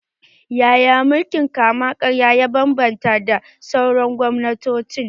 Yaya mulkin kama-karya ya bambanta da sauran gwamnatoci?